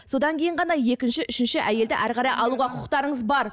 содан кейін ғана екінші үшінші әйелді әрі қарай алуға құқықтарыңыз бар